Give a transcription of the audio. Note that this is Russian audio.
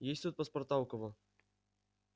есть тут паспорта у кого